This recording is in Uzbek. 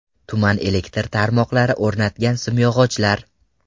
Tuman elektr tarmoqlari o‘rnatgan simyog‘ochlar.